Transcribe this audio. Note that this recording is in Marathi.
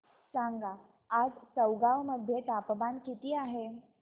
सांगा आज चौगाव मध्ये तापमान किता आहे